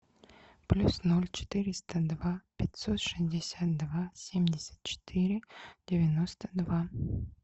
плюс ноль четыреста два пятьсот шестьдесят два семьдесят четыре девяносто два